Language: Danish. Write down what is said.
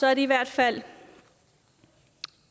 er det i hvert fald